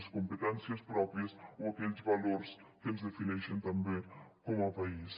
les competències pròpies o aquells valors que ens defineixen també com a país